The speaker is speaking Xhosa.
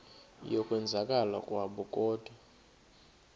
yokwenzakala kwabo kodwa